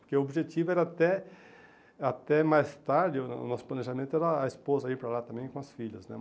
Porque o objetivo era até até mais tarde, o nosso planejamento era a esposa ir para lá também com as filhas né.